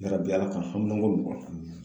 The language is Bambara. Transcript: Yarabi Ala ka haminanko nɔgɔya